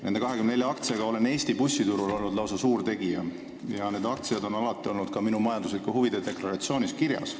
Nende 24 aktsiaga olen Eesti bussiturul olnud lausa suur tegija ja need aktsiad on alati olnud ka minu majanduslike huvide deklaratsioonis kirjas.